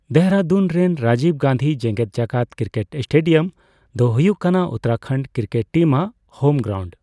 ᱫᱮᱨᱟᱫᱩᱱ ᱨᱮᱱ ᱨᱟᱡᱤᱵᱽ ᱜᱟᱱᱫᱷᱤ ᱡᱮᱜᱮᱫ ᱡᱟᱠᱟᱛ ᱠᱨᱤᱠᱮᱴ ᱥᱴᱮᱰᱤᱭᱟᱢ ᱫᱚ ᱦᱩᱭᱩᱜ ᱠᱟᱱᱟ ᱩᱛᱛᱚᱨᱟᱠᱷᱚᱱᱰ ᱠᱨᱤᱠᱮᱴ ᱴᱤᱢᱟᱜ ᱦᱳᱢ ᱜᱨᱟᱣᱩᱱᱰ ᱾